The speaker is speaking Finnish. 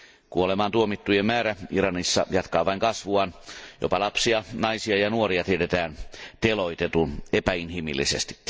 Kuolemaantuomittujen määrä Iranissa jatkaa vain kasvuaan, jopa lapsia, naisia ja nuoria tiedetään teloitetun epäinhimillisesti.